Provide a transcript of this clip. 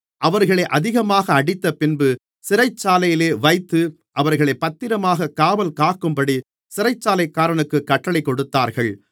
அவர்களை அதிகமாக அடித்தபின்பு சிறைச்சாலையிலே வைத்து அவர்களைப் பத்திரமாகக் காவல்காக்கும்படி சிறைச்சாலைக்காரனுக்குக் கட்டளைக் கொடுத்தார்கள்